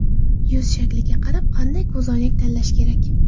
Yuz shakliga qarab qanday ko‘zoynak tanlash kerak?.